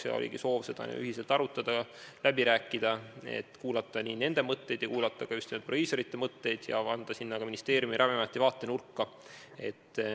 Meil oligi soov seda ühiselt arutada, läbi rääkida, kuulata nende mõtteid ja kuulata ka just nimelt proviisorite mõtteid ja anda lisaks ministeeriumi ja Ravimiameti vaatenurk.